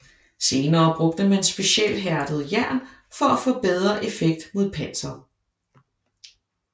Senere brugte man specialhærdet jern for at få bedre effekt mod panser